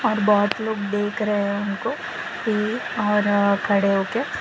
और बहोत लोग देख रहे उनको की और खड़े होके।